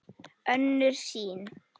Önnur sýn